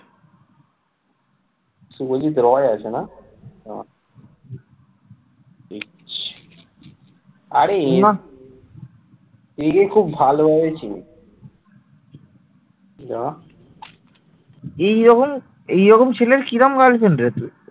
এইরকম ছেলের কি রকম girlfriend রে তুই?